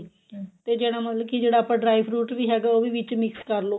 ਤੇ ਜਿਹੜਾ ਮਤਲਬ ਕੀ ਜਿਹੜਾ ਆਪਾਂ dry fruit ਵੀ ਹੈਗਾ ਉਹ ਵੀ ਵਿੱਚ mix ਕਰਲੋ